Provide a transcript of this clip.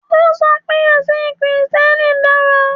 O sọ pé ẹ̀sìn Kìrìsítíẹ́nì dára